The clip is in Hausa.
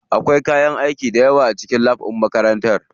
Akwai kayan aiki dayawa a cikin lab ɗin makarantar mu.